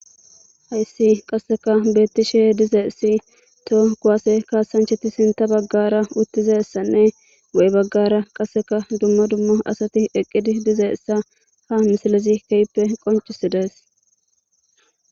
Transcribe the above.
Hayssi qasseka beettishe dizeessi to kuwaase kaasancheti sinta baggara uttizessanne wo7e baggara qasseka dummo dummo asati eqqidi dizeessa ha misalezi kehppe qoncisides